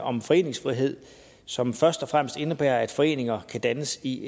om foreningsfrihed som først og fremmest indebærer at foreningerne kan dannes i